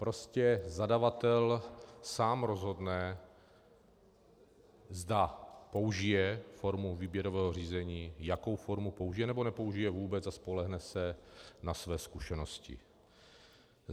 Prostě zadavatel sám rozhodne, zda použije formu výběrového řízení, jakou formu použije, nebo nepoužije vůbec a spolehne se na své zkušenosti.